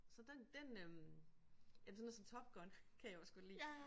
Så den den øh jamen sådan noget som Top Gun kan jeg også godt lide